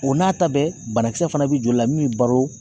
O n'a ta bɛɛ banakisɛ fana bɛ joli la min b'i baro